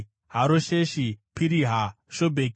Harosheshi, Piriha, Shobheki,